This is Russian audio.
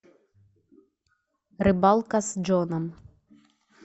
рыбалка с джоном